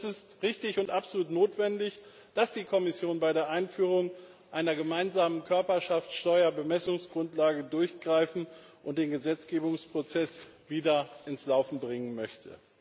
Und es ist richtig und absolut notwendig, dass die Kommission bei der Einführung einer gemeinsamen Körperschaftssteuer Bemessungsgrundlage durchgreifen und den Gesetzgebungsprozess wieder ins Laufen bringen möchte.